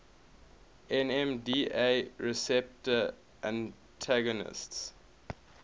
nmda receptor antagonists